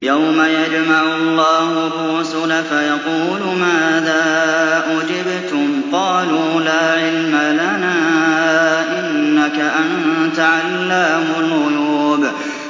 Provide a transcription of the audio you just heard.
۞ يَوْمَ يَجْمَعُ اللَّهُ الرُّسُلَ فَيَقُولُ مَاذَا أُجِبْتُمْ ۖ قَالُوا لَا عِلْمَ لَنَا ۖ إِنَّكَ أَنتَ عَلَّامُ الْغُيُوبِ